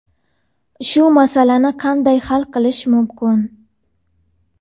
Shu masalani qanday hal qilish mumkin?.